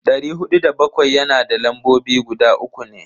Dari hudu da bakwai yana da lambobi guda uku ne.